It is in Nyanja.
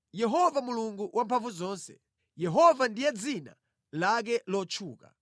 Yehova Mulungu Wamphamvuzonse, Yehova ndiye dzina lake lotchuka!